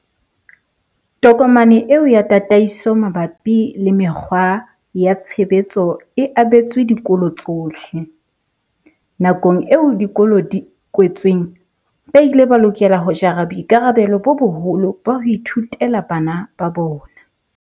Tokomane eo ya tataiso mabapi le mekgwa ya tshebetso e abetswe dikolo tsohle. Nakong eo dikolo di kwetsweng, ba ile ba lokela ho jara boikarabelo bo boholo ba ho ithutela bana ba bona.